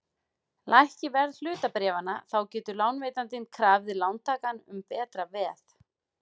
Lækki verð hlutabréfanna þá getur lánveitandinn krafið lántakann um betra veð.